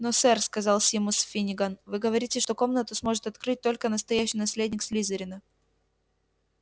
но сэр сказал симус финниган вы говорите что комнату сможет открыть только настоящий наследник слизерина